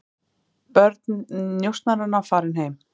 Börn njósnaranna farin heim